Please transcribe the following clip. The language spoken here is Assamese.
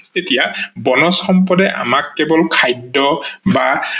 এতিয়া বনজ সম্পদে আমাক কেৱল খাদ্য বা